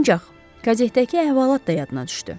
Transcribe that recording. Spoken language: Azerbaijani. Ancaq, qazetdəki əhvalat da yadına düşdü.